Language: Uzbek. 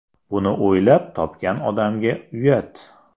Buni o‘ylab topgan odamga uyat!